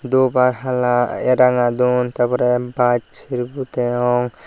dhup ar hala ranga dun tar pore baj ser bu degong.